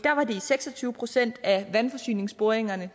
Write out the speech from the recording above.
har var det i seks og tyve procent af vandforsyningsboringerne